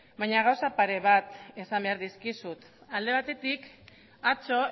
baina gauza pare bat esan behar dizkizut alde batetik atzo